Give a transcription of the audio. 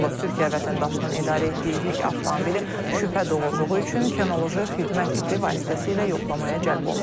Türkiyə vətəndaşının idarə etdiyi yük avtomobili şübhə doğurduğu üçün kinoloji xidmət iti vasitəsilə yoxlamaya cəlb olunub.